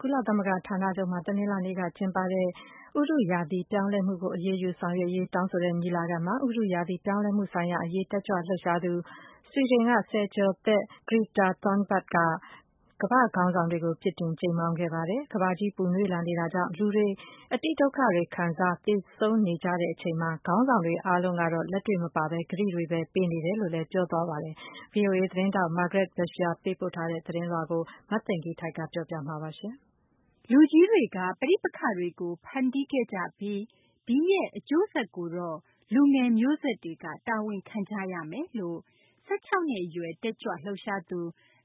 ကုလသမဂ္ဂ ဌာနချုပ်မှာ တနလာၤနေ့က ကျင်းပတဲ့ ဥတုရာသီ ပြောင်းလဲမှုကို အရေးယူ လုပ်ဆောင်ရေး တောင်းဆိုတဲ့ ညီလာခံမှာ ဥတုရာသီ ပြောင်းလဲမှုဆိုင်ရာ အရေး တက်ကြွလှုပ်ရှားသူ ဆွီဒင် ဆယ်ကျော်သက် Greta Thunberg က ကမ္ဘာ့ခေါင်းဆောင်တွေကို ပြစ်တင်ကြိမ်းမောင်း ပြောဆိုခဲ့ပါတယ်။ ကမ္ဘာကြီး ပူနွေးမှု ကြောင့် လူထုဟာ အတိဒုက္ခတွေ ခံစား၊ သေဆုံးနေကြချိန်မှာ ခေါင်းဆောင်တွေ အားလုံးကတော့ လက်တွေ့ လုပ်ဆောင်ချက် မပါဘဲ ကတိတွေဘဲ ပေးနေတယ်လို့လည်း ပြောဆိုသွားပါတယ်။ ဗွီအိုအေ သတင်းထောက် Margaret Besheer ရဲ့ သတင်းကို မသိင်္ဂ ီထိုက် ပြောပြပေးမှာပါ။ လူကြီးတွေက ပဋိပက္ခတွေကို ဖန်တီးခဲ့ကြပြီး ဒီရဲ့ အကျိုးဆက်ကိုတော့ လူငယ် မျိုးဆက်တွေက တာဝန်ခံကြရမယ်လို့ ၁၆ နှစ် အရွယ် တက်ကြွလှုပ်ရှားသူ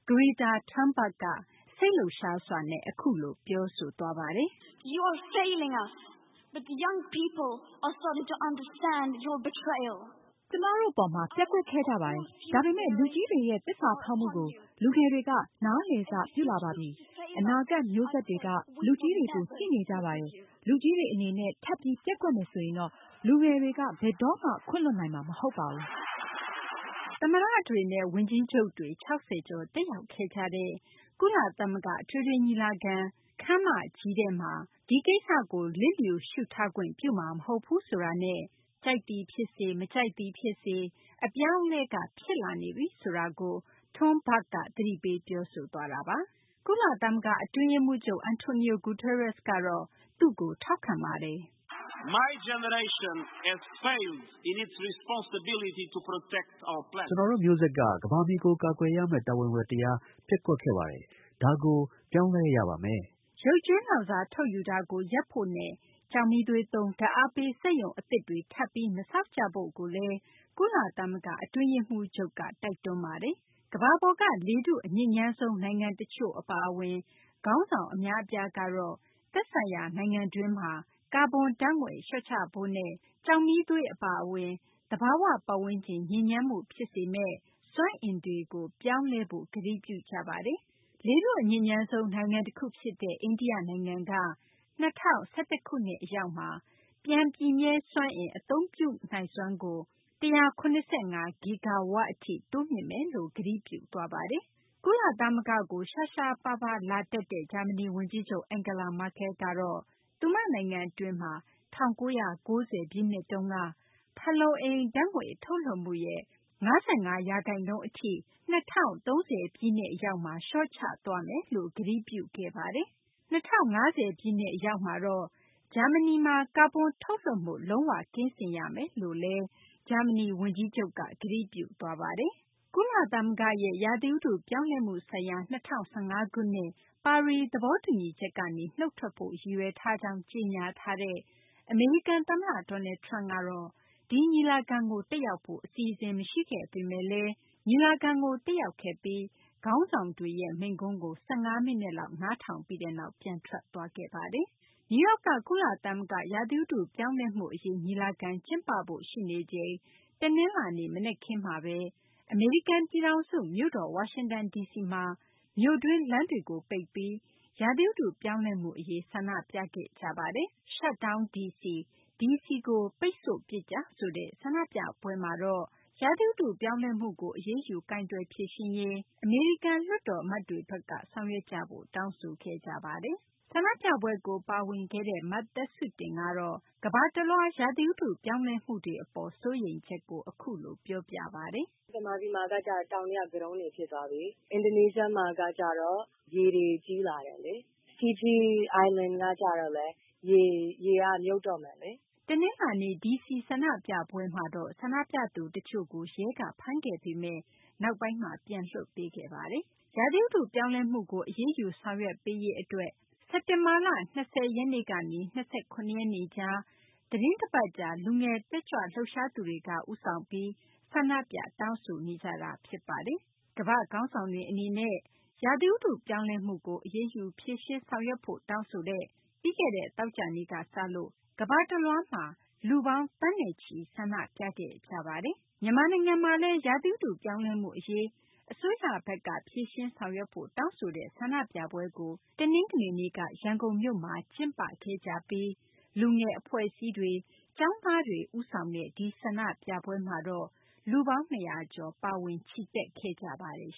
Greta Thunberg က စိတ်လှုပ်ရှားစွာ အခုလို ပြောဆိုသွားပါတယ်။ “ကျမတို့ အပေါ်မှာ ပျက်ကွက်ခဲ့ကြပါတယ်။ ဒါပေမယ့် လူကြီးတွေရဲ့ သစ္စာဖောက်မှုကို လူငယ်တွေက နားလည်စပြုလာပါပြီ။ အနာဂတ် မျိုးဆက်တွေက လူကြီးတွေကို ကြည့်နေကြပါတယ်။ လူကြီးတွေ အနေနဲ့ ထပ်ပြီး ပျက်ကွက်မယ်ဆိုရင်တော့ လူငယ်တွေက ဘယ်တော့မှ ခွင့်လွှတ်နိုင်မှာ မဟုတ်ပါဘူး။” သမ္မတတွေနဲ့ ဝန်ကြီးချုပ်တွေ ၆၀ ကျော် တက်ရောက်ခဲ့ကြတဲ့ ကုလသမဂ္ဂ အထွေထွေ ညီလာခံ အထွေထွေ ညီလာခံ ခန်းမကြီးထဲမှာ ဒီကိစ္စကို လစ်လျူရှုထားခွင့် ပြုမှာမဟုတ်ဘူးဆိုတာနဲ့ ကြိုက်သည် ဖြစ်စေ မကြိုက်သည် ဖြစ်စေ အပြောင်းအလဲက ဖြစ်လာနေပြီဆိုတာကို Thunberg က သတိပေး ပြောဆိုသွားတာ ဖြစ်ပါတယ်။ ကုလသမဂ္ဂ အတွင်းရေးမှူးချုပ် Antonio Guterres ကတော့ သူ့ကို ထောက်ခံပါတယ်။ “ကျနော်တို့ မျိုးဆက်က ကမ္ဘာမြေကို ကာကွယ်ရမယ့် တာဝန်ဝတ္တရား ပျက်ကွက်ခဲ့ပါတယ်။ ဒါကို ပြောင်းလဲ ရပါမယ်။” ရုပ်ကြွင်းလောင်စာ ထုတ်ယူတာကို ရပ်ဖို့နဲ့ ကျောက်မီးသွေးသုံး ဓာတ်အားပေး စက်ရုံအသစ်တွေ ထပ်ပြီး မဆောက်ကြဖို့လည်း ကုလသမဂ္ဂ အတွင်းရေးမှူးချုပ်က တိုက်တွန်းပါတယ်။ ကမ္ဘာပေါ်က လေထု အညစ်ညမ်းဆုံး နိုင်ငံ တချို့ အပါအဝင် ခေါင်းဆောင် အများအပြားကတော့ သက်ဆိုင်ရာ နိုင်ငံတွင်းမှာ ကာဗွန် ဓာတ်ငွေ့ လျှော့ချဖို့နဲ့ ကျောက်မီးသွေး အပါအဝင် သဘာ၀ ပတ်ဝန်းကျင် ညစ်ညမ်းမှု ဖြစ်စေမယ့် စွမ်းအင်တွေကို ပြောင်းလဲဖို့ ကတိပြုကြပါတယ်။ လေထု အညစ်ညမ်းဆုံး နိုင်ငံတခု ဖြစ်တဲ့ အိန္ဒိယနိုင်ငံက ၂၀၁၁ ခုနှစ် အရောက်မှာ ပြန်ပြည့်မြဲ စွမ်းအင် အသုံးပြုမှုနိုင်စွမ်းကို ၁၇၅ ဂီဂါဝပ် အထိ တိုးမြှင့်မယ်လို့ ကတိပြုသွားပါတယ်။ ကုလသမဂ္ဂကို ရှားရှားပါးပါး လာတက်တဲ့ ဂျာမနီ ဝန်ကြီးချုပ် Angela Merkel ကတော့ သူမ နိုင်ငံ အတွင်းမှာ ၁၉၉၀ ပြည့်နှစ်တုန်းက ဖန်လုံအိမ် ဓာတ်ငွေ့ ထုတ်လွှတ်မှုရဲ့ ၅၅ ရာခိုင်နှုန်း အထိ ၂၀၃၀ ပြည့်နှစ် အရောက်မှာ လျှော့ချသွားမယ်လို့ ကတိပြုခဲ့ပါတယ်။ ၂၀၅၀ ပြည့်နှစ် အရောက်မှာတော့ ဂျာမနီမှာ ကာဗွန်ထုတ်လွှတ်မှု လုံး၀ ကင်းစင်ရမယ်လို့လည်း ဂျာမနီ ဝန်ကြီးချုပ်က ကတိပြုသွားပါတယ်။ ကုလသမဂ္ဂရဲ့ ရာသီဥတု ပြောင်းလဲမှု ဆိုင်ရာ ၂၀၁၅ ခုနှစ် ပါရီ သဘောတူညီချက်ကနေ နုတ်ထွက်ဖို့ ရည်ရွယ်ထားကြောင်း ကြေညာထားတဲ့ အမေရိကန် သမ္မတ Donald Trump ကတော့ ဒီညီလာခံကို တက်ရောက်ဖို့ အစီအစဉ် မရှိခဲ့ပေမယ့်လည်း ညီလာခံကို တက်ရောက်ခဲ့ပြီး ခေါင်းဆောင်တွေရဲ့ မိန့်ခွန်းကို ၁၅ မိနစ်လောက် နားထောင်ပြီးနောက် ပြန်ထွက်သွားခဲ့ပါတယ်။ နယူးယောက်က ကုလသမဂ္ဂ ဥတုရာသီ ပြောင်းလဲမှု အရေး ညီလာခံ ကျင်းပဖို့ ရှိနေချိန် တနလာၤနေ့ မနက်ခင်းမှာဘဲ အမေရိကန် ပြည်ထောင်စု မြို့တော် ဝါရှင်တန် ဒီစီမှာလည်း မြို့တွင်း လမ်းတွေ ကိုပိတ်ပြီး ဥတု ရာသီ ပြောင်းလဲမှု အရေး ဆန္ဒပြခဲ့ကြပါတယ်။ Shut Down DC ဒီစီကို ပိတ်ဆို့ပစ်ကြဆိုတဲ့ ဆန္ဒပြပွဲမှာတော့ ဥတုရာသီ ပြောင်းလဲမှုကို အရေးယူ ကိုင်တွယ်ဖြေရှင်းရေး အမေရိကန် လွှတ်တော် အမတ်တွေဘက်က ဆောင်ရွက်ကြဖို့ တောင်းဆိုခဲ့ကြပါတယ်။ ဆန္ဒပြပွဲကို ပါဝင်ခဲ့တဲ့ မသက်စုတင်ကတော့ ကမ္ဘာတလွှား ရာသီဥတု ပြောင်းလဲမှုတွေ အပေါ် စိုးရိမ်ချက်ကို အခုလို ပြောပါတယ်။ “ဗမာပြည်မှာက တောင်တွေက ကတုံးတွေ ဖြစ်သွားပြီ၊ အင်ဒိုနီးရှားမှာက ရေတွေ ကြီးလာတယ်လေ၊ ဖီဂျီကျွန်းကလည်း ရေက မြုပ်တော့မယ်လေ။” တနလာၤနေ့ ဒီစီဆန္ဒပြပွဲမှာတော့ ဆန္ဒပြသူ တချို့ကို ရဲက ဖမ်းခဲ့ပေမယ့် နောက်ပိုင်းမှာ ပြန်လွှတ်ပေးခဲ့ပါတယ်။ ဥတု ရာသီ ပြောင်းလဲမှုကို အရေးယူ ဆောင်ရွက်ပေးရေး အတွက် စက်တင်ဘာလ ၂၀ ရက်နေ့ကနေ ၂၇ ရက်နေ့ကြား သီတင်းတပတ်ကြား လူငယ် တက်ကြွလှုပ်ရှားသူတွေက ဦးဆောင်ပြီး ဆန္ဒပြ တောင်းဆိုနေကြတာ ဖြစ်ပါတယ်။ ကမ္ဘာ့ခေါင်းဆောင်တွေ အနေနဲ့ ရာသီဥတု ပြောင်းလဲမှုကို အရေးယူ ဖြေရှင်း ဆောင်ရွက်ဖို့ တောင်းဆိုတဲ့ ပြီးခဲ့တဲ့ သောကြာနေ့ကစလို့ ကမ္ဘာတလွှားမှာ လူပေါင်း သန်းချီ ဆန္ဒပြခဲ့ကြတာပါ။ မြန်မာနိုင်ငံမှာလည်း ဥတုရာသီ ပြောင်းလဲမှု အရေး အစိုးရဘက်က ဖြေရှင်းဆောင်ရွက်ဖို့ တောင်းဆိုတဲ့ ဆန္ဒပြပွဲကို တနင်္ဂနွေနေ့က ရန်ကုန်မြို့မှာ ကျင်းပခဲ့ကြပြီး လူငယ် အဖွဲ့အစည်းတွေ ကျောင်းသားတွေ ဦးဆောင်တဲ့ ဒီဆန္ဒပြပွဲမှာတော့ လူပေါင်း ၂၀၀ ကျော် ပါဝင်ချီတက်ခဲ့ကြပါတယ်